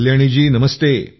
कल्याणीजी नमस्ते